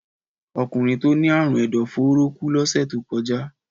Ọkùnrin tó ní àrùn ẹ̀dọ̀-fóóró kú lọ́sẹ̀ tó kọjá.